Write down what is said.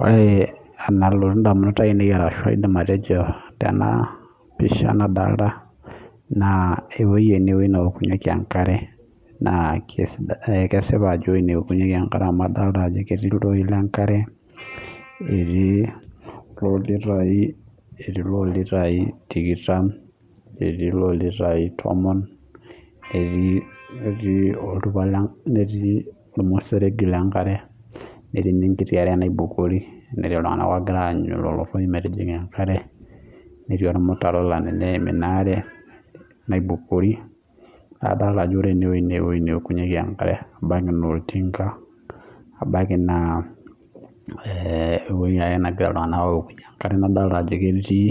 Ore enalotu edamunot ainei ashu aidim atejo Tena pisha nadolita naa ewueji ena wueji newokunyieki enkare naa kesipa Ajo enewokunyieki enkare amu ketii ilntoi lee nkare netii loo lm litai tikitam netii eloo litai tomon netii ormuseregi lee nkare netii naa enkiti are naibukori netii iltung'ana loogira anyuu lelo toi metijinga enkare netii ormutaro oyim enkare naibukori naa adol Ajo ore enewueji naa ewueji newokunyieki enkare ebaiki naa olting ebaiki naa ewueji ake negira iltung'ana awokunyie enkare adolita Ajo ketii